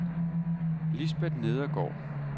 Lisbeth Nedergaard